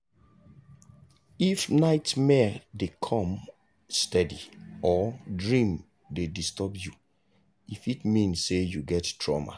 if nightmare dey come steady or dream dey disturb you e fit mean say you get trauma.